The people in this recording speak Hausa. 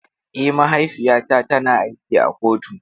Eh, mahaifiyata tana aiki a kotu.